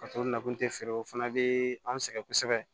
nakun tɛ feere o fana bɛ anw sɛgɛn kosɛbɛ